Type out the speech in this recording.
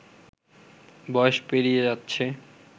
বয়স পেরিয়ে যাচ্ছে